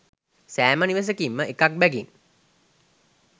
සෑම නිවසකින්ම එකක් බැගින්